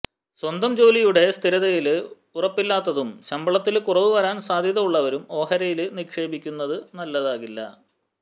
സ്വന്തം ജോലിയുടെ സ്ഥിരതയില് ഉറപ്പില്ലാത്തതും ശമ്പളത്തില് കുറവ് വരാന് സാധ്യത ഉള്ളവരും ഓഹരിയില് നിക്ഷേപിക്കുന്നത് നല്ലതാകില്ല